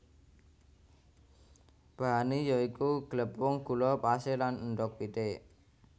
Bahane ya iku glepung gula pasir lan endhog pitik